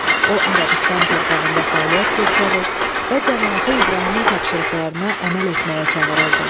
O Ərəbistan torpağında fəaliyyət göstərir və camaatı İbrahimin tapşırıqlarına əməl etməyə çağırırdı.